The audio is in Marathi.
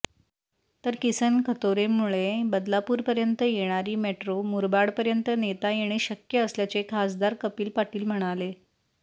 तर किसन कथोरेंमुळे बदलापूरपर्यंत येणारी मेट्रो मुरबाडपर्यंत नेता येणे शक्य असल्याचे खासदार कपिल पाटील म्हणाले